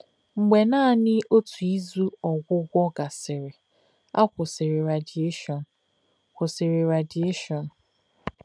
Mgbe naanị otu izu ọgwụgwọ gasịrị, a kwụsịrị radieshon. kwụsịrị radieshon.